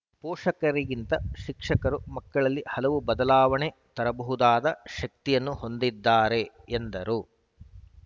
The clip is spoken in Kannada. ಪೋಷಕರಿಗಿಂತ ಶಿಕ್ಷಕರು ಮಕ್ಕಳಲ್ಲಿ ಹಲವು ಬದಲಾವಣೆ ತರಬಹುದಾದ ಶಕ್ತಿಯನ್ನು ಹೊಂದಿದ್ದಾರೆ ಎಂದರು